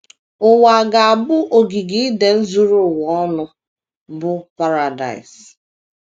Ụwa ga - abụ ogige Iden zuru ụwa ọnụ, bụ́ paradaịs.